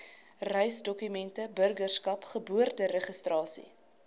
reisdokumente burgerskap geboorteregistrasie